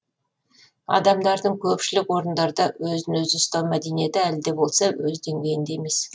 адамдардың көпшілік орындарда өзін өзі ұстау мәдениеті әлі де болса өз деңгейінде емес